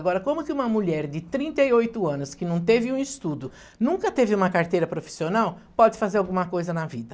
Agora, como que uma mulher de trinta e oito anos que não teve um estudo, nunca teve uma carteira profissional, pode fazer alguma coisa na vida?